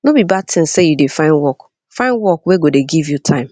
no be bad tin sey you dey find work find work wey go dey give you time